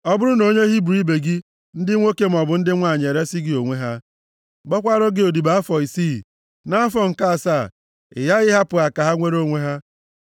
Ọ bụrụ na onye Hibru ibe gị, ndị nwoke maọbụ ndị nwanyị, eresi gị onwe ha, gbakwaara gị odibo afọ isii, nʼafọ nke asaa, ị ghaghị ịhapụ ha ka ha nwere onwe ha.